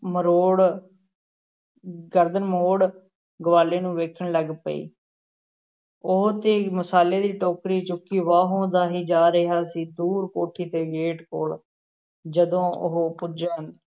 ਮਰੋੜ ਗਰਦਨ ਮੋੜ ਗਵਾਲੇ ਨੂੰ ਵੇਖਣ ਲੱਗ ਪਈ ਉਹ ਤੇ ਮਸਾਲੇ ਦੀ ਟੋਕਰੀ ਚੁੱਕੀ ਵਾਹੋ-ਦਾਹੀ ਜਾ ਰਿਹਾ ਸੀ, ਦੂਰ ਕੋਠੀ ਦੇ gate ਕੋਲ਼ ਜਦੋਂ ਉਹ ਪੁੱਜਾ,